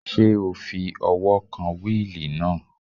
Ṣé o fi ọwọ́ kan wíìlì náà?